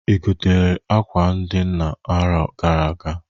I gotalụ akwa ndị nna aro gara aga?